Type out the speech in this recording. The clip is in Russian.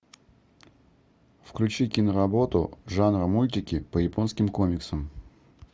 включи киноработу жанр мультики по японским комиксам